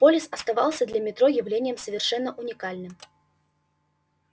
полис оставался для метро явлением совершенно уникальным